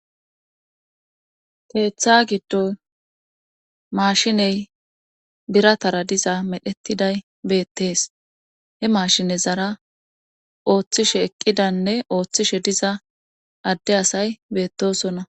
teeththa giddoy maashiney biratara diza medhettiday beettees he maashine zara ooththishe eqqidanne ooththishe diza adde asay beettosona